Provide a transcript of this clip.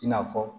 I n'a fɔ